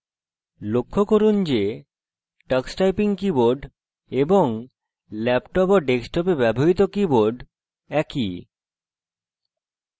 লক্ষ্য করুন যে tux typing keyboard এবং ল্যাপটপ ও ডেস্কটপে ব্যবহৃত keyboard একই